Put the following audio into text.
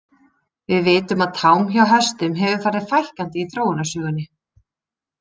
Við vitum að tám hjá hestum hefur farið fækkandi í þróunarsögunni.